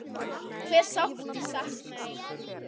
Hve sárt ég sakna þín.